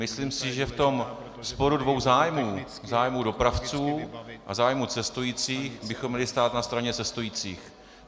Myslím si, že v tom sporu dvou zájmů, zájmu dopravců a zájmu cestujících, bychom měli stát na straně cestujících.